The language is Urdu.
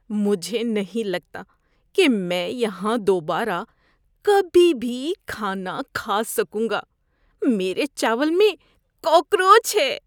مجھے نہیں لگتا کہ میں یہاں دوبارہ کبھی بھی کھانا کھا سکوں گا، میرے چاول میں کاکروچ ہے۔